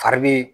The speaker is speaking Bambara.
Fari bee